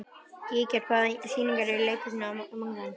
Gígjar, hvaða sýningar eru í leikhúsinu á mánudaginn?